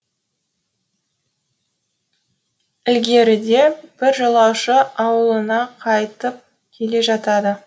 ілгеріде бір жолаушы ауылына қайтып келе жатады